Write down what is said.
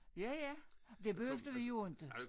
Ja ja det behøvede vi jo inte